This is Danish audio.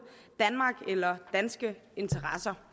danmark eller danske interesser